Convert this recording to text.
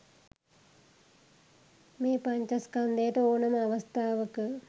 මේ පඤ්චස්කන්ධයට ඕනෑම අවස්ථාවක